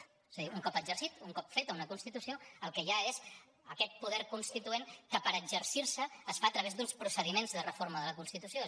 o sigui un cop exercit un cop feta una constitució el que hi ha és aquest poder constituent que per exercir se es fa a través d’uns procediments de reforma de la constitució